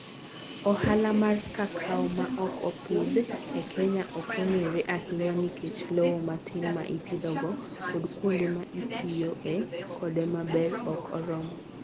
Ohala mar kakao ma ok opidh e Kenya ok ong'ere ahinya nikech lowo matin ma ipidhogo kod kuonde ma itiyoe kode maber ok oromo.